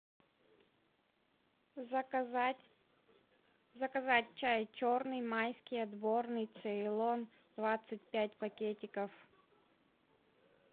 заказать заказать чай черный майский отборный цейлон двадцать пять пакетиков